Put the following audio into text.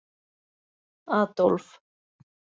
Adólf